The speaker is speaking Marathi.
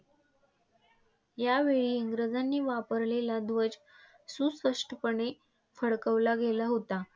यावेळी इंग्रजांनी वापरलेला ध्वज सुस्पष्टपणे फडकविला गेला होता.